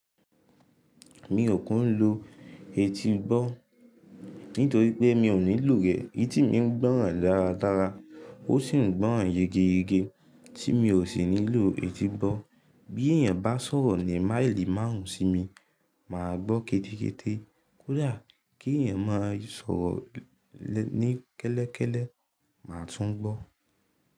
Mi ò kún lo etígbọ́ nítorí pé mi ò nílò rẹ̀. Etí mi ń gbóràn dáradára, ó sì ń gbóràn yegeyege tí mi ò sì nílò etígbọ́. Bí èèyàn bá sọ̀rọ̀ ní máìlì márùn-ún sí mi, màá gbọ́ kéderete Kódà kí èèyàn máa sọ̀rọ̀ ní kẹ́lẹ́kẹ́lẹ́, màá tún gbọ́